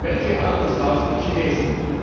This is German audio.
Welche Autos kaufen die Chinesen?